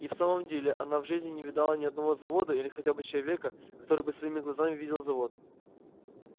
и в самом деле она в жизни не видала ни одного завода или хотя бы человека который бы своими глазами видел завод